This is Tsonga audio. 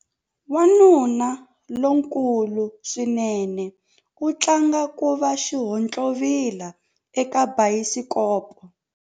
Wanuna lonkulu swinene u tlanga ku va xihontlovila eka bayisikopo.